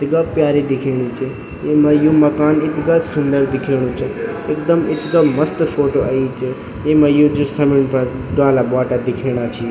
इथगा प्यारी दिखेणी च येमा यु मकान इथगा सुन्दर दिखेणु च एकदम इथगा मस्त फोटो अयीं च येमा यु जू समिन फर डाला बोटा दिखेणा छी।